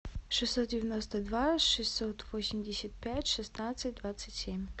шестьсот девяносто два шестьсот восемьдесят пять шестнадцать двадцать семь